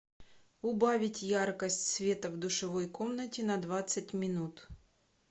убавить яркость света в душевой комнате на двадцать минут